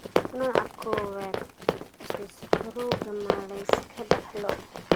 Nooca kowaad-aad ee sokorowga ma la iska dhaxlo?